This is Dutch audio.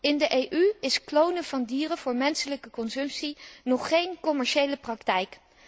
In de EU is het klonen van dieren voor menselijke consumptie nog geen commerciële praktijk.